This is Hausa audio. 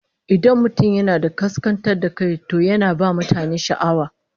Idan mutum yana da kaskantar da kai, to yana ba mutane sha'awa